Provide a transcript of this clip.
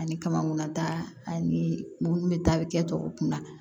Ani kamankunnata ani munnu bɛ taa kɛ tɔw kunna